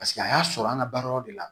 Paseke a y'a sɔrɔ an ka baara yɔrɔ de la